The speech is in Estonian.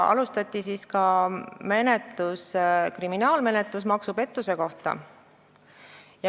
Alustati ka kriminaalmenetlust maksupettuse asjas.